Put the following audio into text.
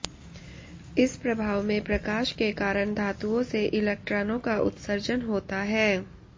इस प्रभाव में प्रकाश के कारण धातुओं से इलेक्ट्रानों का उत्सर्जन होता है